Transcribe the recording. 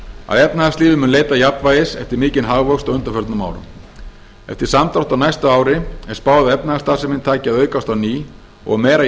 að efnahagslífið mun leita jafnvægis eftir mikinn hagvöxt á undanförnum árum eftir samdrátt á næsta ári er spáð að efnahagsstarfsemin taki að aukast á ný og að meira